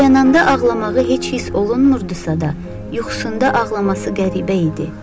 Oyananda ağlamağı heç hiss olunmurduza da, yuxusunda ağlaması qəribə idi.